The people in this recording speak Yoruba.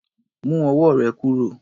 Mu ọwọ́ rè kúrò.